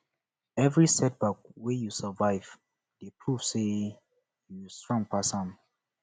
evri setback wey yu survive dey prove say yu strong pass am